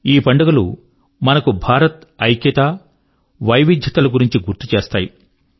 ఈ పండుగలు మనకు భారత్ యొక్క ఐక్యత మరియు వివిధతల గురించి గుర్తు చేస్తాయి